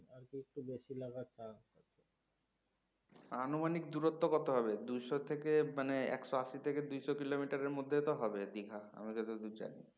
আনুমানিক দুরত্ব কত হবে দুইশ থেকে মানে একশো আশি থেকে দুইশ kilometer এর মধ্যে হবে দীঘা আমি যতদূর জানি